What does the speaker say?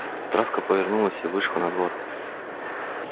травка повернулась и вышла на двор